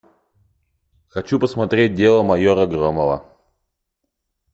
хочу посмотреть дело майора громова